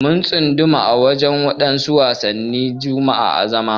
Mun tsunduma a wadansu wasan jama'a na zama.